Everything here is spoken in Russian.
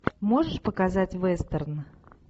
можешь показать вестерн